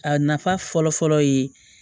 A nafa fɔlɔ fɔlɔ ye